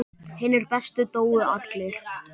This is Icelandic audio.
Hinir bestu dóu allir.